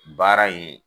Baara in